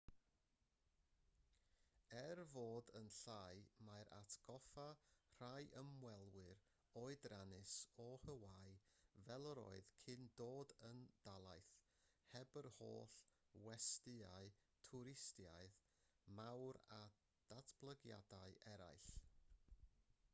er ei fod yn llai mae'n atgoffa rhai ymwelwyr oedrannus o hawaii fel yr oedd cyn dod yn dalaith heb yr holl westyau twristaidd mawr a datblygiadau eraill